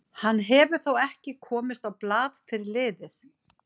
Hann hefur þó ekki komist á blað fyrir liðið.